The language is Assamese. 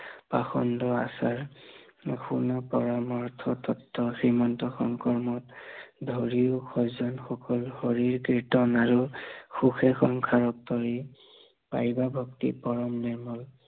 পাষণ্ড আচাৰ, শুনা পৰমাৰ্থ তত্ব, শ্ৰীমন্ত শংকৰ মত ধৰিয়ো সজ্বন সুখ, হৰি কীৰ্তন আৰু সুখে সংসাৰ তৰি, পাৰিবা ভক্তি কৰন নিৰ্মল